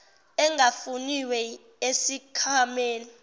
engafuniwe esikh wameni